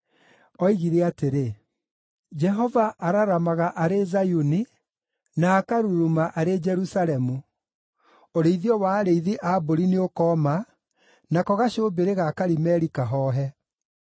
Oigire atĩrĩ: “Jehova araramaga arĩ Zayuni, na akaruruma arĩ Jerusalemu; ũrĩithio wa arĩithi a mbũri nĩũkooma, nako gacũmbĩrĩ ga Karimeli kahoohe.”